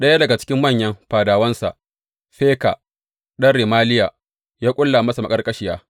Ɗaya daga cikin manyan fadawansa, Feka ɗan Remaliya, ya ƙulla masa maƙarƙashiya.